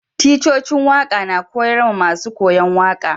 Ticcocin waka na koyars ma masun koyo waka.